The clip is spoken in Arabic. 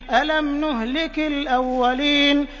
أَلَمْ نُهْلِكِ الْأَوَّلِينَ